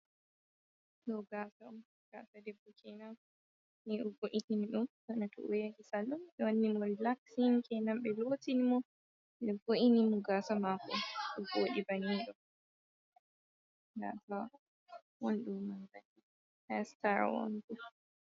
Ɗoo gaasa on, gaasa debbo keenan, ni o yahi ɓe voitini ɗum bana to o yahii sallon, ɓe wanni mo rilaksin, keenan ɓe lootini mo, ɓe vo’ini mo gaasa maako ɗo voodi banni ɗo, gaasa won ɗo man kadi.